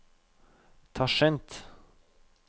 Tasjkent